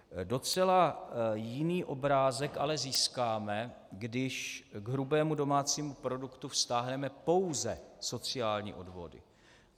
Docela jiný obrázek ale získáme, když k hrubému domácímu produktu vztáhneme pouze sociální odvody.